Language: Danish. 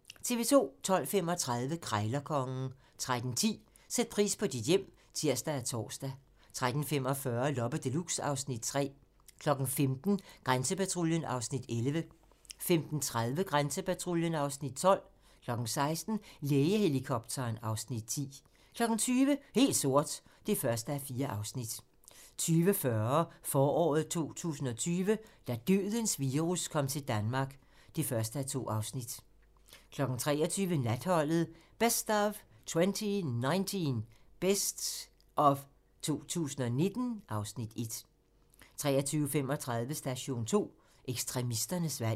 12:35: Krejlerkongen 13:10: Sæt pris på dit hjem (tir og tor) 13:45: Loppe Deluxe (Afs. 3) 15:00: Grænsepatruljen (Afs. 11) 15:30: Grænsepatruljen (Afs. 12) 16:00: Lægehelikopteren (Afs. 10) 20:00: Helt sort (1:4) 20:40: Foråret 2020 - da dødens virus kom til Danmark (1:2) 23:00: Natholdet - best of 2019 (Afs. 1) 23:35: Station 2: Ekstremisternes valg